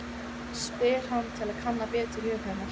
spyr hann til að kanna betur hug hennar.